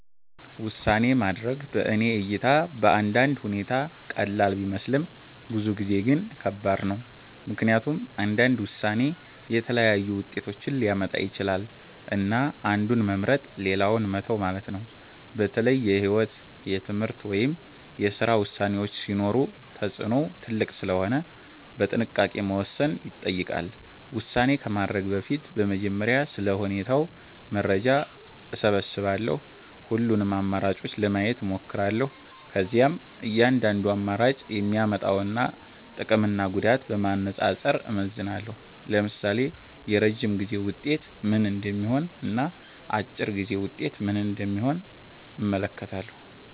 ውሳኔ ማድረግ በእኔ እይታ በአንዳንድ ሁኔታ ቀላል ቢመስልም ብዙ ጊዜ ግን ከባድ ነው። ምክንያቱም እያንዳንዱ ውሳኔ የተለያዩ ውጤቶችን ሊያመጣ ይችላል፣ እና አንዱን መምረጥ ሌላውን መተው ማለት ነው። በተለይ የህይወት፣ የትምህርት ወይም የስራ ውሳኔዎች ሲሆኑ ተጽዕኖው ትልቅ ስለሆነ በጥንቃቄ መወሰን ይጠይቃል። ውሳኔ ከማድረግ በፊት በመጀመሪያ ስለ ሁኔታው መረጃ እሰብስባለሁ። ሁሉንም አማራጮች ለማየት እሞክራለሁ። ከዚያም እያንዳንዱ አማራጭ የሚያመጣውን ጥቅምና ጉዳት በማነጻጸር እመዝናለሁ። ለምሳሌ የረጅም ጊዜ ውጤት ምን እንደሚሆን እና አጭር ጊዜ ውጤት ምን እንደሚሆን እመለከታለሁ።